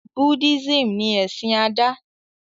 Buddhism ní ẹsìn Ada